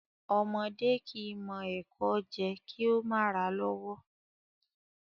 Ọmọdé kìí mọ ẹkò jẹ kí ó mà ràa lọ́wọ́